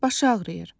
Başı ağrıyır.